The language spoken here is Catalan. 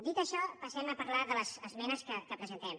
dit això passem a parlar de les esmenes que presentem